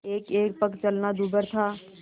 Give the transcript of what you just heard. एकएक पग चलना दूभर था